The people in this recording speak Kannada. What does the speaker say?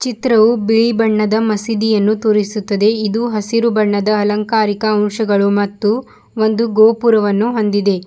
ಚಿತ್ರವು ಬಿಳಿ ಬಣ್ಣದ ಮಸೀದಿಯನ್ನು ತೋರಿಸುತ್ತದೆ ಇದು ಹಸಿರು ಬಣ್ಣದ ಅಲಂಕಾರಿಕ ಅಂಶಗಳು ಮತ್ತು ಒಂದು ಗೋಪುರವನ್ನು ಹೊಂದಿದೆ.